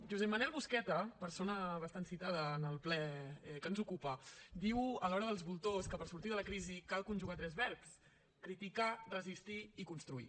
josep manel busqueta persona bastant citada en el ple que ens ocupa diu a l’hora dels voltors que per sortir de la crisi cal conjugar tres verbs criticar resistir i construir